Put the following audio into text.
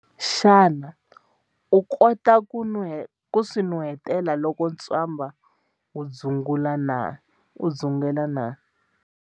Xana u kota ku swi nuheta loko ntswamba wu dzungela?